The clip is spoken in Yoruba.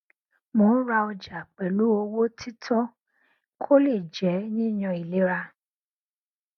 mo ń ra ọjà pẹlú owó títọ kó le jẹ yíyan ìlera